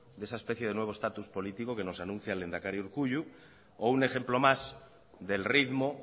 de esa especie de nuevo status político que nos anuncia el lehendakari urkullu o un ejemplo más del ritmo